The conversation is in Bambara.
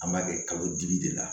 An b'a kɛ kalo dibi de la